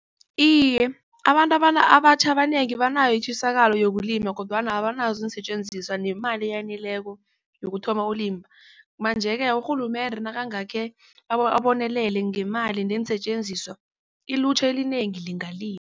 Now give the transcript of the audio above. Iye abantu abatjha abanengi banayo itjisakalo yokulima kodwana abanazo iinsetjenziswa nemali eyaneleko yokuthoma ukulima. Manje-ke urhulumende nakangakhe abonelele ngemali neensetjenziswa ilutjha elinengi lingalimi.